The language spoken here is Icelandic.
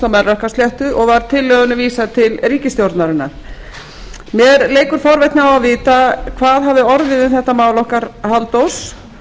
melrakkasléttu og var tillögunni vísað til ríkisstjórnarinnar mér leikur forvitni á að vita hvað hafi orðið um þetta mál okkar halldórs